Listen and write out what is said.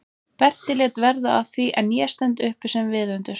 Berti lét verða af því en ég stend uppi sem viðundur?